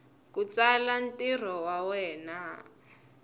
ku tsala ntirho wa wena